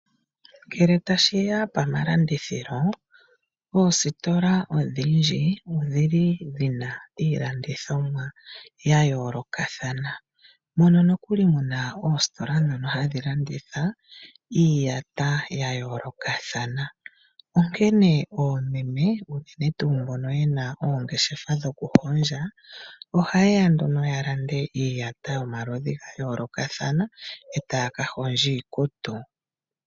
Ngele ta shiya pamalandithilo, oositola odhindji odhi li dhina iilangithomwa ya yoolokathana, mpono nokuli muna oositola dhono hadhi landitha iiyata ya yoolokathana. Onkene oomeme unene tuu mbono yena oongeshefa dhoku hondja, oha yeya nduno ya lande iiyata yomaludhi ga yoolokathana, eta ya ka hondja iikutu.